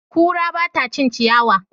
Kura ba ta cin ciyawa.